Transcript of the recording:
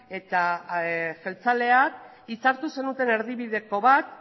eta jeltzaleak hitzartu zenuten erdibideko bat